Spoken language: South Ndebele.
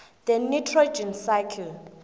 the nitrogen cycle